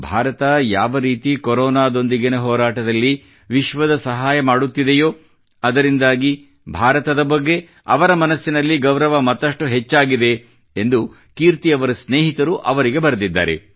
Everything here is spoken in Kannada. ಭಾರತ ಯಾವರೀತಿ ಕೊರೋನಾದೊಂದಿಗಿನ ಹೋರಾಟದಲ್ಲಿ ವಿಶ್ವದ ಸಹಾಯ ಮಾಡುತ್ತಿದೆಯೋ ಅದರಿಂದಾಗಿ ಭಾರತದ ಬಗ್ಗೆ ಅವರ ಮನಸ್ಸಿನಲ್ಲಿ ಗೌರವ ಮತ್ತಷ್ಟು ಹೆಚ್ಚಾಗಿದೆ ಎಂದು ಕೀರ್ತಿಯವರ ಸ್ನೇಹಿತರು ಅವರಿಗೆ ಬರೆದಿದ್ದಾರೆ